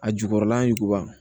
A jukɔrɔla ɲuguba